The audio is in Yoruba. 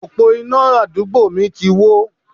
Òpó iná àdúgbò mi ti wó.